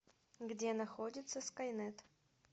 где находится скайнет